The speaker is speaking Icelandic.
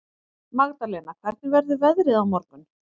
Magdalena, hvernig verður veðrið á morgun?